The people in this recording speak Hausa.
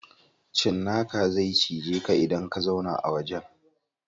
Cinnaka zai cije ka idan ka zauna a wajen.